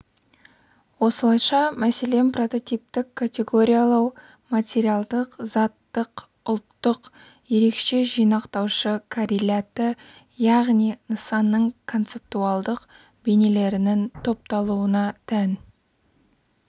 осылайша мәселен прототиптік категориялау материалдық заттық ұлттық ерекше жинақтаушы корреляты яғни нысанның концептуалдық бейнелерінің топталуына тән